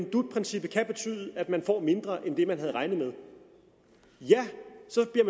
at dut princippet kan betyde at man får mindre end det man havde regnet med ja